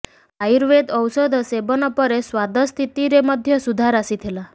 ଆୟୁର୍ବେଦ ଔଷଧ ସେବନ ପରେ ସ୍ୱାଦ ସ୍ଥିତିରେ ମଧ୍ୟ ସୁଧାର ଆସିଥିଲା